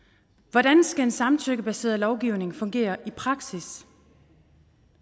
hvordan skal en samtykkebaseret lovgivning fungere i praksis